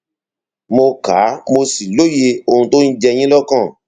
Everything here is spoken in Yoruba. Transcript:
mo ka mo sì lóye ohun tó ń jẹ yín lọkàn